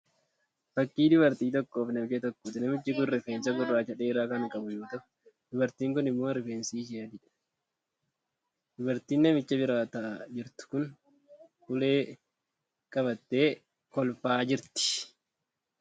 Fakkii dubartii tokkoo fi namicha tokkooti. Namichi kun rifeensa gurraacha dheeraa kan qabu yemmuu ta'u dubartiin kun immoo rifeensi ishee adiidha. Dubartiin namicha bira ta'aa jirtu kun ulee qabattee kolfaa jirti.